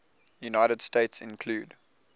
united states include